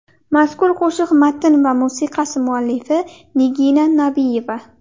Mazkur qo‘shiq matn va musiqasi muallifi Nigina Nabiyeva.